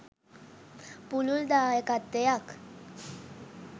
පුළුල් දායකත්වයක්